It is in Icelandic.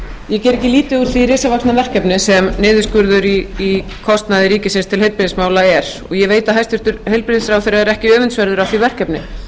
risavaxna verkefni sem niðurskurður í kostnaði ríkisins til heilbrigðismála er og ég veit að hæstvirtur heilbrigðisráðherra er ekki öfundsverður af því verkefni